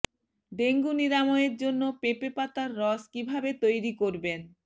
dengue নিরাময়ের জন্য পেঁপে পাতার রস কীভাবে তৈরি করবেন